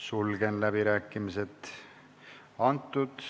Sulgen läbirääkimised.